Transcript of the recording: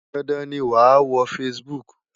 Dandan ni wàá wo Facebook!